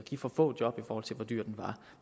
for få job i forhold til hvor dyr den var